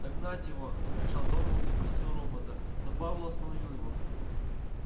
догнать его закричал донован и пустил робота но пауэлл остановил его